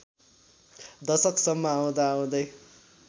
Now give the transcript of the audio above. दशकसम्म आउँदाआउँदै